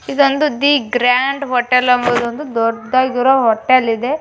ಇದೊಂದು ಒಂದು the grand hotel ಎಂಬುದೊಂದು ದೊಡ್ಡದಾಗಿರೋ ಹೋಟೆಲ್ ಇದೆ.